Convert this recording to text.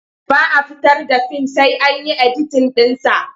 Ba a fitar da fim sai an yi editin ɗinsa.